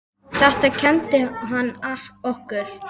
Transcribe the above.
Þetta kenndi hann okkur.